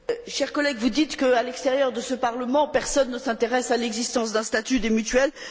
Chers collègues, vous dites qu'à l'extérieur de ce Parlement, personne ne s'intéresse à l'existence d'un statut des mutuelles.